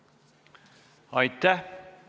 Aitäh!